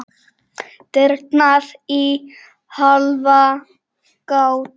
Dyrnar í hálfa gátt.